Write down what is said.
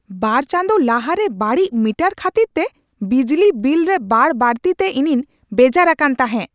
ᱵᱟᱨ ᱪᱟᱸᱫᱳ ᱞᱟᱦᱟᱨᱮ ᱵᱟᱹᱲᱤᱡ ᱢᱤᱴᱟᱨ ᱠᱷᱟᱹᱛᱤᱨ ᱛᱮ ᱵᱤᱡᱽᱞᱤ ᱵᱤᱞ ᱨᱮ ᱵᱟᱹᱰᱼᱵᱟᱹᱲᱛᱤ ᱛᱮ ᱤᱧᱤᱧ ᱵᱮᱡᱟᱨ ᱟᱠᱟᱱ ᱛᱟᱦᱮᱸᱜ ᱾